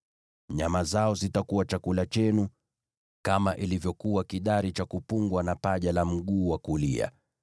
Nyama zao zitakuwa chakula chenu, kama ilivyokuwa kidari cha kuinuliwa na paja la mguu wa kulia.